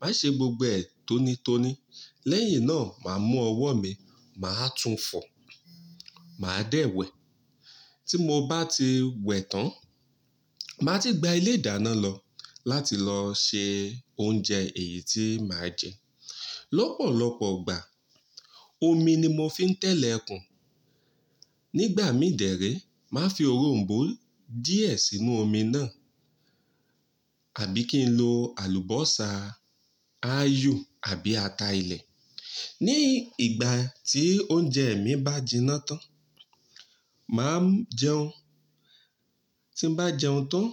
màá ṣe gbogbo ẹ̀ tónítóní. Lẹ́yìn náà, màá mú ọwọ́ mi, màá tún fọ̀, màá dẹ̀ wẹ̀. Tí mo bá ti wẹ̀ tán, màá ti gbá ilé ìdáná lọ láti lọ ṣe oúnjẹ èyí tí màá jẹ. Lọ́pọ̀lọ́pọ̀ igbà, omi ni mo fi ń tẹ́lẹ̀kun. Nígbà mí dèrè, màá fi òronbó díẹ̀ sínú omi náà àbí kí n lo àlùbọ́sà, ayò àbí ata ilẹ̀. Ní ìgbà tí oúnjẹ mi bá jiná tán, màá jẹun. Tí n bá jẹun tán,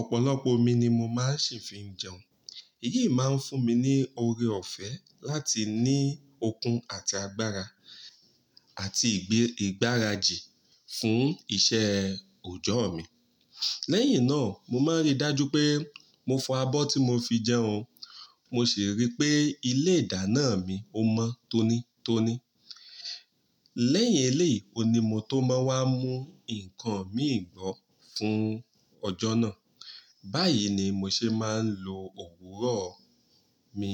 ọ̀pọ̀lọpọ̀ omi ni mo máa sì fi n jẹun. Èyí máa ń fún mi ní oore ọ̀fẹ́ láti ní okun àti agbára àti ìgbẹ́ ìgbárajì fún iṣẹ́ òojọ́ mi. Lẹ́yìn náà, mo máa n rí dájú pé mo fọ abọ́ tí mo fi jẹun, mo sì rí pé ilé ìdáná mi ó mọ́ tónítóní. Lẹ́yìn eléyìí ohun ni mo tó máa wá mú nǹkan mìíràn fún ọjọ́ náà. Báyìí ni mo ṣe máa ń lo òwúrọ̀ mi.